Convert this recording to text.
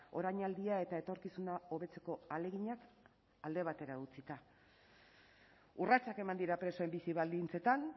orainaldia eta etorkizuna hobetzeko ahaleginak alde batera utzita urratsak eman dira presoen bizi baldintzetan